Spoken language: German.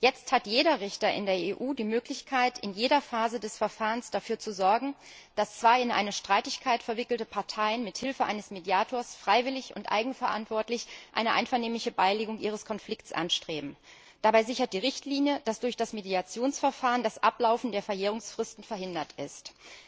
Jetzt hat jeder Richter in der EU die Möglichkeit, in jeder Phase des Verfahrens dafür zu sorgen, dass zwei in eine Streitigkeit verwickelte Parteien mit Hilfe eines Mediators freiwillig und eigenverantwortlich eine einvernehmliche Beilegung ihres Konflikts anstreben. Dabei stellt die Richtlinie sicher, dass durch das Mediationsverfahren das Ablaufen der Verjährungsfristen verhindert wird.